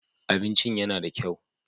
Abincin yana da kyau.